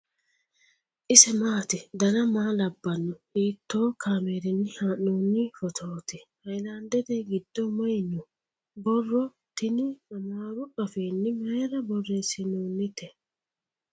ise maati ? dana maa labbanno ? hiitoo kaameerinni haa'noonni footooti ? haylandete giddo mayi no ? borro tini amaaru afiinni mayra borreessinoonite ?